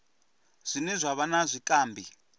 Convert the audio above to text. zwine zwa vha na zwikambi